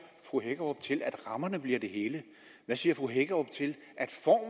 fru hækkerup til at rammerne bliver det hele hvad siger fru hækkerup til